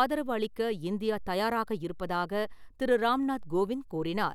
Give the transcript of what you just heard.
ஆதரவு அளிக்க இந்தியா தயாராக இருப்பதாக திரு ராம்நாத் கோவிந்த் கூறினார்.